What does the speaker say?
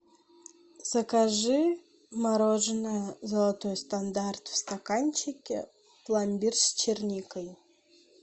закажи мороженое золотой стандарт в стаканчике пломбир с черникой